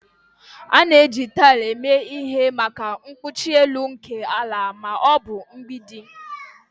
A na-eji taịl eme ihe maka ikpuchi elu nke ala ma ọ bụ mgbidi